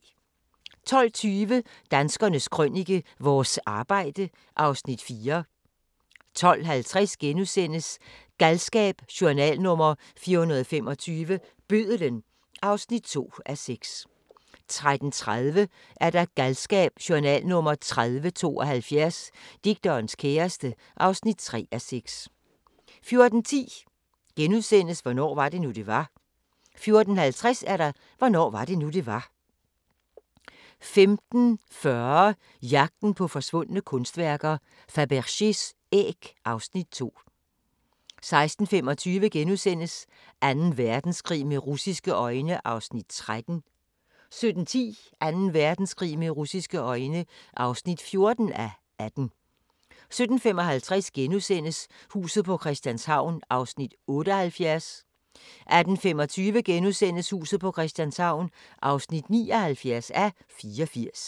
12:20: Danskernes Krønike - vores arbejde (Afs. 4) 12:50: Galskab: Journal nr. 425 – Bødlen (2:6)* 13:30: Galskab: Journal nr. 3072 - Digterens kæreste (3:6) 14:10: Hvornår var det nu, det var? * 14:55: Hvornår var det nu, det var? 15:40: Jagten på forsvundne kunstværker: Fabergés æg (Afs. 2) 16:25: Anden Verdenskrig med russiske øjne (13:18)* 17:10: Anden Verdenskrig med russisje øjne (14:18) 17:55: Huset på Christianshavn (78:84)* 18:25: Huset på Christianshavn (79:84)*